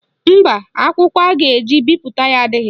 Mba, akwụkwọ a ga-eji bipụta ya adịghị.